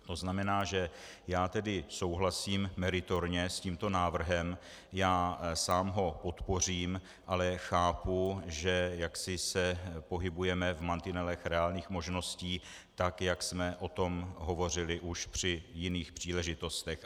To znamená, že já tedy souhlasím meritorně s tímto návrhem, já sám ho podpořím, ale chápu, že jaksi se pohybujeme v mantinelech reálných možností tak, jak jsme o tom hovořili už při jiných příležitostech.